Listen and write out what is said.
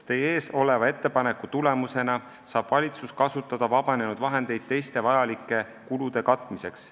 Teie ees oleva ettepaneku tulemusena saab valitsus kasutada vabanenud vahendeid teiste vajalike kulude katmiseks.